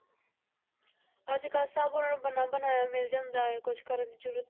ਅੱਜ ਕੱਲ੍ਹ ਸਭ ਉਹਨਾਂ ਨੂੰ ਬਣਾ ਬਣਾਇਆ ਮਿਲ ਜਾਂਦਾ ਹੈ ਕੁਛ ਕਰਨ ਦੀ ਜ਼ਰੂਰਤ,